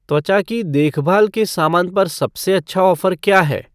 त्वचा की देखभाल के सामान पर सबसे अच्छा ऑफ़र क्या है